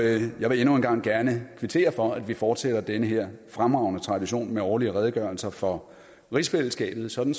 jeg vil endnu en gang gerne kvittere for at vi fortsætter den her fremragende tradition med årlige redegørelser for rigsfællesskabet sådan